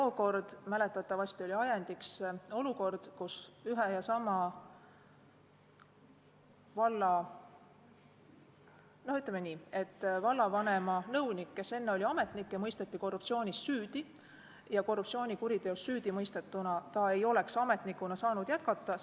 Tookord oli mäletatavasti ajendiks olukord, kus vallavanema nõunik, kes oli ametnik, mõisteti korruptsioonis süüdi ja korruptsioonikuriteos süüdimõistetuna ei oleks ta saanud ametnikuna jätkata.